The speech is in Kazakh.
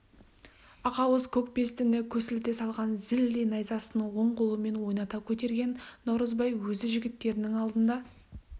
ақауыз көкбестіні көсілте салған зілдей найзасын оң қолымен ойната көтерген наурызбай өзі жігіттерінің алдында